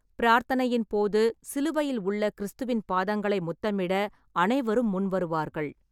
பிரார்த்தனையின் போது, சிலுவையில் உள்ள கிறிஸ்துவின் பாதங்களை முத்தமிட அனைவரும் முன்வருவார்கள்.